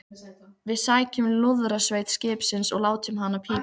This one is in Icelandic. Við sækjum lúðrasveit skipsins og látum hana pípa!